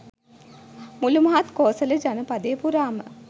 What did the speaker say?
මුලු මහත් කෝසල ජනපදය පුරාම